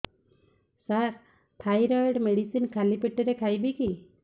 ସାର thyroid medicine ଖାଲି ପେଟରେ ଖାଇବି କି